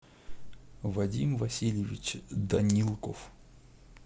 вадим васильевич данилков